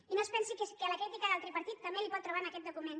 i no es pensi que la crítica del tripartit també la pot trobar en aquest document